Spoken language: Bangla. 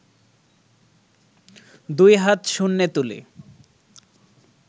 দুই হাত শূন্যে তুলে